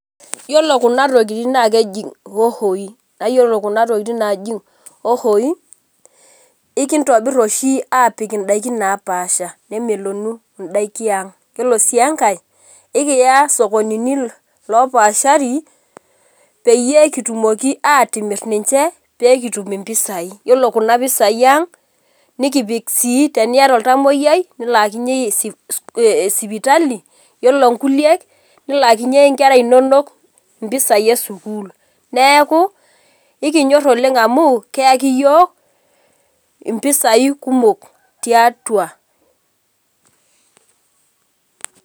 Yiolo kuna tokiting nakeji hohoi. Yiolo kuna tokiting naji hohoi, ikintobir oshi apik idaikin napaasha. Nemelonu idaiki ang. Yiolo si enkae, ekiya sokonini lopaashari, peyie kitumoki atimir ninche, pekitum impisai. Yiolo kuna pisai ang, nikipik sii teniata oltamoyiai, nilaakinye sipitali, yiolo nkulie, nilaakinye nkera inonok impisai esukuul. Neeku, ikinyor oleng amu, keyaki yiok, impisai kumok tiatua.